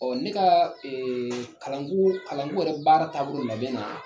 Ɔ ne ka kalanko kalanko yɛrɛ baara taabo labɛn na.